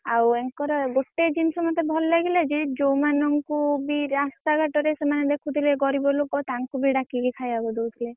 ଆଉ ଆଙ୍କର ଗୋଟେ ଜିନିଷ ମତେ ଭଲ ଲାଗିଲା ଯେ, ଯୋଉମାନଂକୁ ବି ରାସ୍ତା ଘାଟରେ ଦେଖୁଥିଲେ ଗରିବ ଲୋକ ତାଂକୁ ବି ଡାକିକି ଖାଇବାକୁ ଦଉଥିଲେ।